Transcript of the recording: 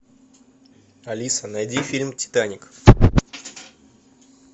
алиса найди фильм титаник